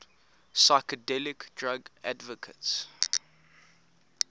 psychedelic drug advocates